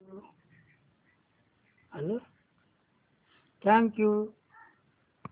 thank you